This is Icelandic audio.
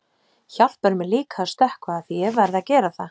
Hjálpar mér líka að stökkva afþvíað ég verð að gera það.